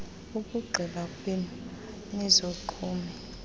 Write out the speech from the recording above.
ukugqiba kwenu nizogqume